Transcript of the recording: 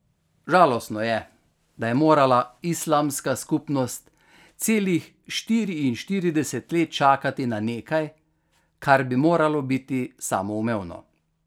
Žalostno je, da je morala islamska skupnost celih štiriinštirideset let čakati na nekaj, kar bi moralo biti samoumevno.